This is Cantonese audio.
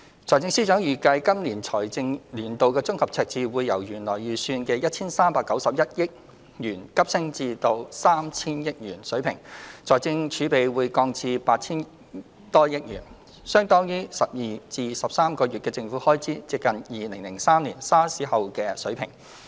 財政司司長預計，今個財政年度的綜合赤字會由原來預算的 1,391 億元急升至 3,000 億元水平，財政儲備則降至 8,000 多億元，相當於12至13個月的政府開支，接近2003年 SARS 後的水平。